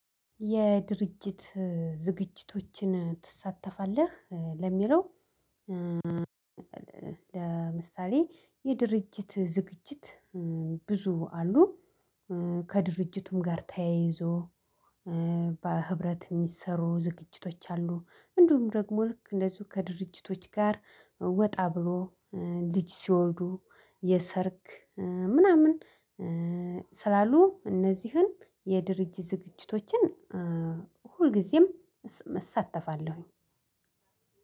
የድርጅት ዝግጅቶችን ትሳተፋለህ? ለሚለው ለምሳሌ የድርጅት ዝግጅት ብዙ አሉ። ከድርጅቱም ጋር ተያይዞ በህብረት የሚሰሩ ዝግጅቶች አሉ። እንዲሁም ደግሞ ልክ እንደዚሁ ከድርጅቶች ጋር ወጣ ብሎ ልጅ ሲወልዱ የሰርግ ምናምን። ስላሉ እነዚህን የድርጅት ዝግጅቶችን ሁልጊዜም እሳተፋለሁኝ።